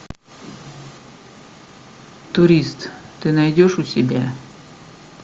турист ты найдешь у себя